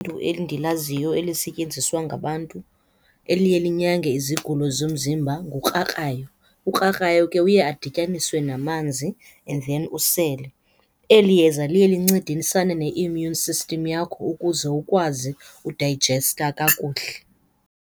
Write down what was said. endilaziyo elisetyenziswa ngabantu eliye linyange izigulo zomzimba ngukrakrayo. Ukrakrayo ke uye adityaniswe namanzi and then usele. Eli yeza liye lincedisana ne-immune system yakho ukuze ukwazi udayijesta kakuhle.